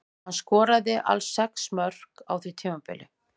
Hann skoraði alls sex mörk á því tímabili.